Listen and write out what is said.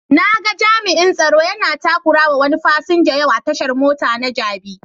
Na ga jami'an tsaro yana takurawa wani fasinja yau a tashan mota na jabi.